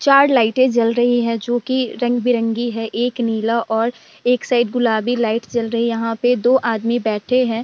चार लाइटे जल रही है जो कि रंग-बेरंगी है। एक नीला और एक साइड गुलाबी लाइट जल रही है। यहाँ पे दो आदमी बैठे हैं।